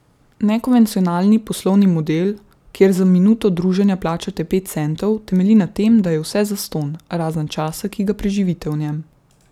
Nekonvencionalni poslovni model, kjer za minuto druženja plačate pet centov, temelji na tem, da je vse zastonj, razen časa, ki ga preživite v njem.